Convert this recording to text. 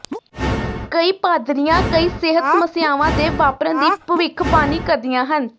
ਕਈ ਪਾਦਰੀਆਂ ਕਈ ਸਿਹਤ ਸਮੱਸਿਆਵਾਂ ਦੇ ਵਾਪਰਨ ਦੀ ਭਵਿੱਖਬਾਣੀ ਕਰਦੀਆਂ ਹਨ